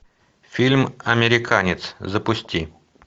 фильм американец запусти